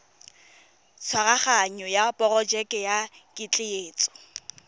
tshwaraganyo ya porojeke ya ketleetso